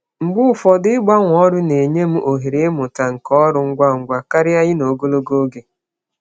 Mgbe ụfọdụ, ịgbanwe ọrụ na-enye m ohere ịmụta nkà ọhụrụ ngwa ngwa karịa ịnọ ogologo oge.